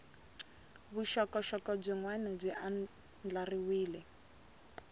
vuxokoxoko byin wana byi andlariwile